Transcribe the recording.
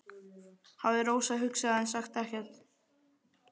hafði Rósa hugsað en sagði ekkert.